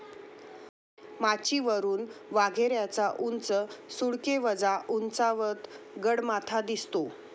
माचीवरून वाघेऱ्याचा उंच सुळकेवजा उंचावत, गडमाथा दिसतो.